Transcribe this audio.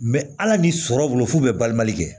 hali ni sɔrɔ bolo f'u bɛ balima kɛ